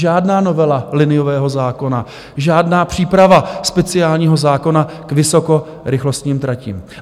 Žádná novela liniového zákona, žádná příprava speciálního zákona k vysokorychlostním tratím.